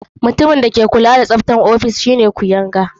Mutumin da ke kula da tsaftar ofis shine kuyanga.